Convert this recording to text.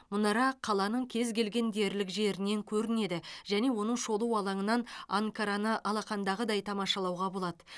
мұнара қаланың кез келген дерлік жерінен көрінеді және оның шолу алаңынан анкараны алақандағыдай тамашалауға болады